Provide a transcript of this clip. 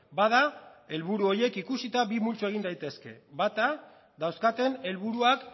bada helburu horiek ikusita bi multzo egin daitezke bata dauzkaten helburuak